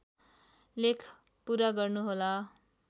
लेख पूरा गर्नुहोला